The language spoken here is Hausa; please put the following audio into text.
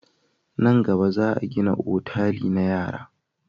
Nan gaba, za a gina otali na yara.